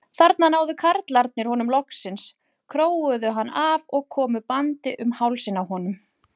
Þarna náðu karlarnir honum loksins, króuðu hann af og komu bandi um hálsinn á honum.